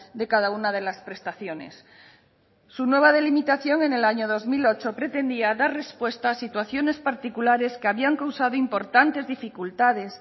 de cada una de las prestaciones su nueva delimitación en el año dos mil ocho pretendía dar respuesta a situaciones particulares que habían causado importantes dificultades